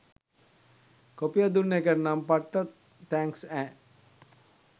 කොපිය දුන්න එකටනම් පට්ට තැන්ක්ස් ඈ.